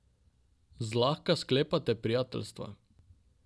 Zlahka sklepate prijateljstva.